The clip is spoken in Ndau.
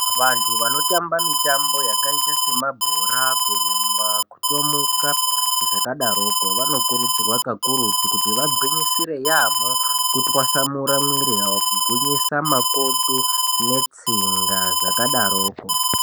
Vandu vanotamba mitambo yakaita sema bhora kurumba kutomuka zvakadaroko vano kurudzirwa kakurutu kuti vagwinyisire yamho kutwasamura mwiri yavo kugwinyisa makodo netsinga zvakadarokwo.